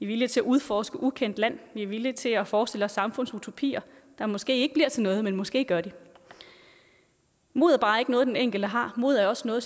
villige til at udforske ukendt land at vi er villige til at forestille os samfundsutopier som måske ikke bliver til noget men som måske gør mod er bare ikke noget den enkelte har mod er også noget